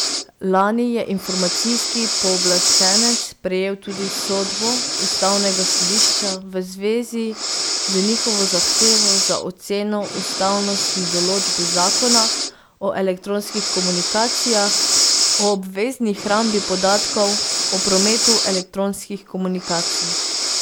Lani je informacijski pooblaščenec prejel tudi sodbo ustavnega sodišča v zvezi z njihovo zahtevo za oceno ustavnosti določb zakona o elektronskih komunikacijah o obvezni hrambi podatkov o prometu elektronskih komunikacij.